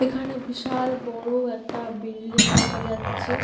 এখানে বিশাল বড় একটা বিল্ডিং দেখা যাচ্ছে।